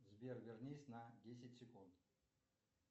сбер вернись на десять секунд